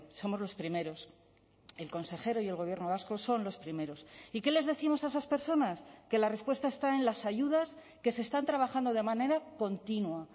somos los primeros el consejero y el gobierno vasco son los primeros y qué les décimos a esas personas que la respuesta está en las ayudas que se están trabajando de manera continua